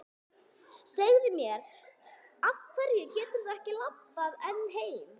Segðu mér. af hverju geturðu ekki labbað ein heim?